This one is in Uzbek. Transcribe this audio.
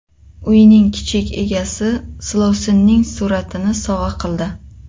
Uyning kichik egasi silovsinning suratini sovg‘a qildi.